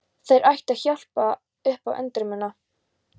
Þær ættu að hjálpa upp á andremmuna.